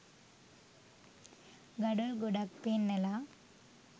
ගඩොල් ගොඩක් පෙන්නලා